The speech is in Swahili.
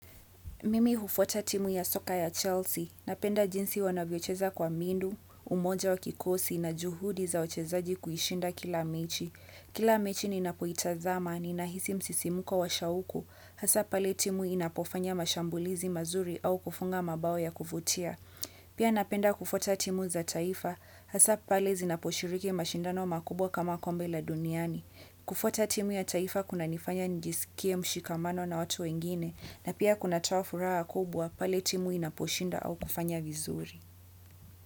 Mimi hufuata timu ya soka ya Chelsea, napenda jinsi wanavyocheza kwa mindu, umoja wa kikosi na juhudi za wachezaji kuishinda kila mechi. Kila mechi ninapoitazama, ninahisi msisimko wa shauku, hasa pale timu inapofanya mashambulizi mazuri au kufunga mabao ya kufutia. Pia napenda kufuata timu za taifa, hasa pale zinaposhiriki mashindano makubwa kama kombe la duniani. Kufuata timu ya taifa kunanifanya nijisikie mshikamano na watu wengine na pia kunatoa furaha kubwa pale timu inaposhinda au kufanya vizuri.